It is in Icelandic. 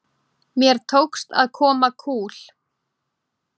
Mér tókst að koma kúl